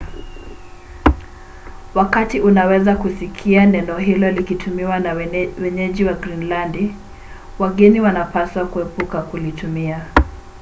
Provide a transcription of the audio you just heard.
wakati unaweza kusikia neno hilo likitumiwa na wenyeji wa grinilandi wageni wanapaswa kuepuka kulitumia